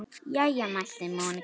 Jæja mælti Monika.